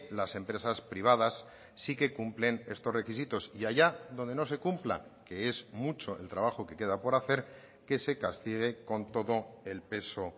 las empresas privadas sí que cumplen estos requisitos y allá donde no se cumpla que es mucho el trabajo que queda por hacer que se castigue con todo el peso